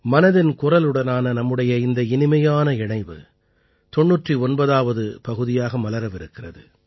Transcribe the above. மனதின் குரலுடனான நம்முடைய இந்த இனிமையான இணைவு 99ஆவது பகுதியாக மலரவிருக்கிறது